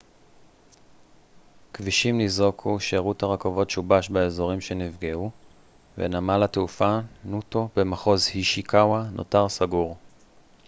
כבישים ניזוקו שירות הרכבות שובש באזורים שנפגעו ונמל התעופה נוטו במחוז אישיקאווה נותר סגור